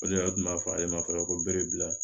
O de tun b'a fɔ ale ma fana ko berebila